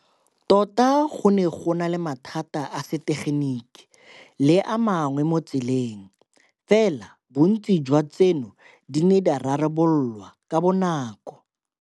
Tota go ne go na le mathata a setegeniki le a mangwe mo tseleng, fela bontsi jwa tseno di ne di rarablolwa ka bonako.